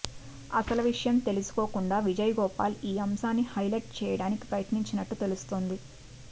అసలు విషయం తెలుసుకోకుండా విజయ్ గోపాల్ ఈ అంశాన్ని హైలెట్ చేయడానికి ప్రయత్నించినట్లు తెలుస్తోంది